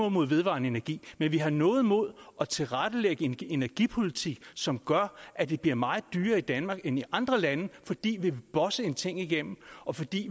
imod vedvarende energi men vi har noget imod at tilrettelægge en energipolitik som gør at det bliver meget dyrere i danmark end i andre lande fordi vi vil bosse en ting igennem og fordi